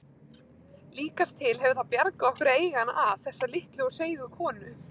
Líkast til hefur það bjargað okkur að eiga hana að, þessa litlu og seigu konu.